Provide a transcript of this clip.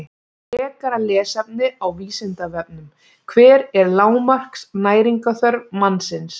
Frekara lesefni á Vísindavefnum: Hver er lágmarks næringarþörf mannsins?